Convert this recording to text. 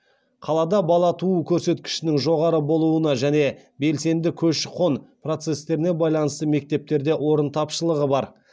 қалада бала туу көрсеткішінің жоғары болуына және белсенді көші қон процестеріне байланысты мектептерде орын тапшылығы бар